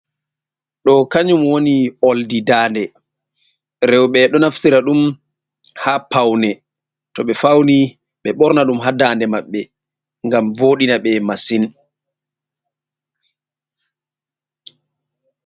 Ɗoo kanjuum woni oldi daande, rewɓe ɗo naftira ɗum ha paune, to ɓe fauni ɓe ɓorna ɗum hadande maɓɓe gam voɗina ɓe mashin.